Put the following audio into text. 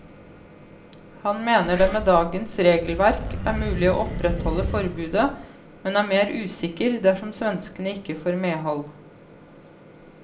Han mener det med dagens regelverk er mulig å opprettholde forbudet, men er mer usikker dersom svenskene ikke får medhold.